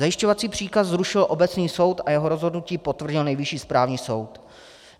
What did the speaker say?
Zajišťovací příkaz zrušil obecný soud a jeho rozhodnutí potvrdil Nejvyšší správní soud.